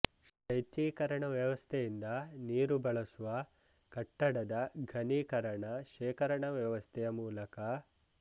ಶೈತ್ಯೀಕರಣ ವ್ಯವಸ್ಥೆಯಿಂದ ನೀರು ಬಳಸುವ ಕಟ್ಟಡದ ಘನೀಕರಣ ಶೇಖರಣಾ ವ್ಯವಸ್ಥೆಯ ಮೂಲಕ